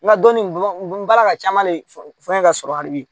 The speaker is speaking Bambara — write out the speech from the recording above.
N ka dɔnni n bala ka caman le fɔ n ye ka sɔrɔ hali bi